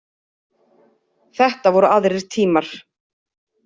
Þetta voru aðrir tímar.